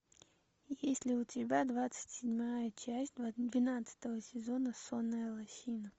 есть ли у тебя двадцать седьмая часть двенадцатого сезона сонная лощина